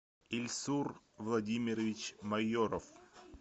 ильсур владимирович майоров